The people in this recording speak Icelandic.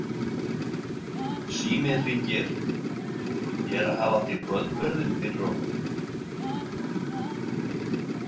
Síminn hringir, ég er að hafa til kvöldverðinn fyrir okkur.